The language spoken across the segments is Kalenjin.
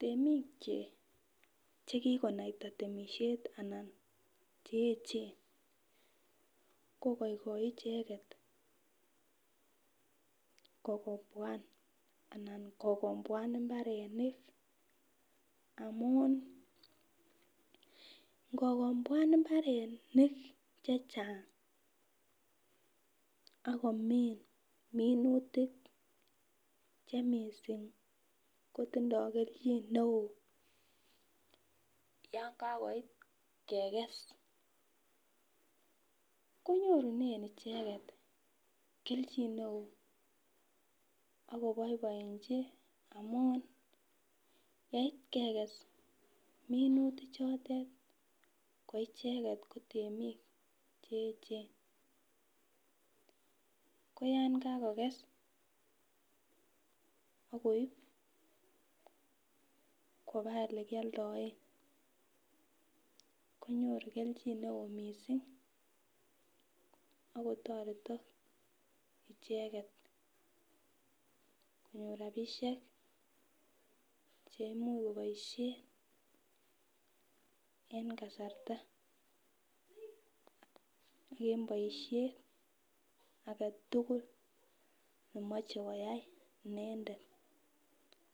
temiik chekigonaita temishet anan cheechen kogoigoi icheget kogomboan anan kogomboan imbarenik amuun ngogomboan imbarenik chechang ak komiin minutik chemistri kotindo kelchin neoo yaankagoit kegees, konorunen icheget kelchin neoo ak koboiboinchi amuun yeit kegees minutik chotet koicheget kotemiik cheechen, ko yaan kagokess ak koib koba olekioldoen konyoru kelchin neoo mising ak kotoretok icheget konyoor rabishek cheimuch koboishen en kasarta een boishet agetugul nemoche koyaai inendet,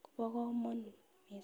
kobo komonuut mising.